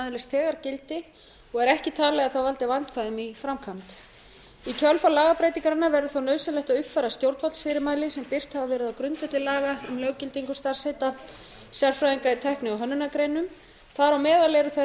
öðlist þegar gildi og er ekki talið að það valdi vandræðum í framkvæmd í kjölfar lagabreytingarinnar verður þó nauðsynlegt að uppfæra stjórnvaldsfyrirmæli sem birt hafa verið á grundvelli laga um löggildingu starfsheita sérfræðinga í tækni og hönnunargreinum þar á meðal eru þær